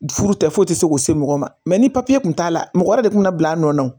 Furu tɛ foyi tɛ se k'u se mɔgɔ ma ni papiye kun t'a la mɔgɔ yɛrɛ de kun bɛ na bila a nɔ na